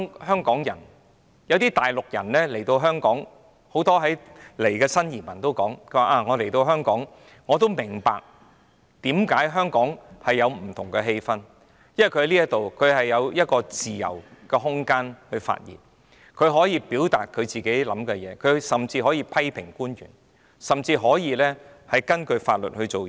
很多從大陸來港的新移民說，他們來到香港也感受到香港有不同的氣氛，因為在這裏有一個自由空間可發言，他們可以表達自己的意見，甚至可以批評官員，亦可以根據法律行事。